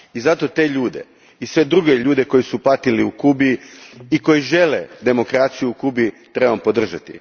Zato te ljude i sve druge ljude koji su patili u Kubi i koji žele demokraciju u Kubi trebamo podržati.